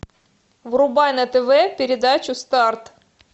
врубай на тв передачу старт